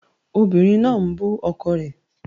Obìnrin náà ń bú ọkọ rẹ̀